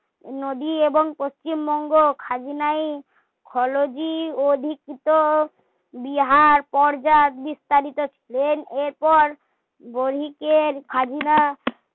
নদী এবং পশ্চিমবঙ্গ খাজনাই খলজি অধিকৃত বিহার পর্যায় বিস্তারিত ছিলেন এরপর বণিকের খাজনা